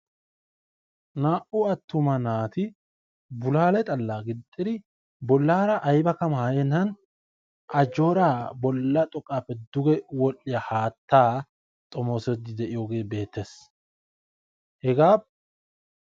Naa"u attuma naati bulaale xallaa gixxidi bollaara aybakka maayennan ajjoora bolla xoqqaappe duge wodhdhiya haattaa xomoosiidfi de"iyooge beettes. Hegaa....